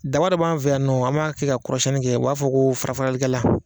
Daba dɔ b'an fɛ yan u b'a kɛ ka kɔrɔsiɲɛni kɛ, an b'a fɔ o ma ko fara faralikɛ la